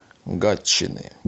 гатчины